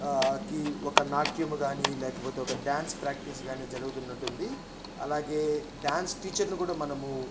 ఆ కి ఒక నాట్యం గానీ లేకపోతే ఒక డాన్స్ ప్రాక్టీస్ గానీ జరుగుతున్నటుంది. అలాగే డాన్స్ టీచర్ ని గూడా మనము--